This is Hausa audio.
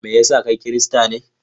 Me ya sa kai Kirista ne?